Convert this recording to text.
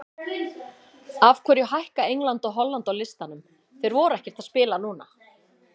Af hverju hækka England og Holland á listanum, þeir voru ekkert að spila núna?